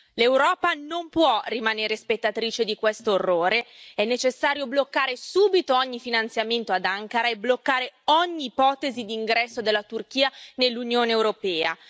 L'Europa non può rimanere spettatrice di questo orrore, è necessario bloccare subito ogni finanziamento ad Ankara e bloccare ogni ipotesi di ingresso della Turchia nell'Unione europea.